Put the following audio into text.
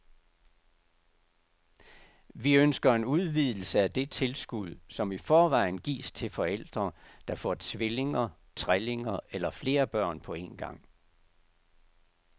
Vi ønsker en udvidelse af det tilskud, som i forvejen gives til forældre, der får tvillinger, trillinger eller flere børn på en gang.